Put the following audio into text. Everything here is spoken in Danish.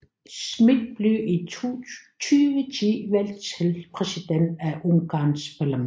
Schmitt blev i 2010 valgt til præsident af Ungarns parlament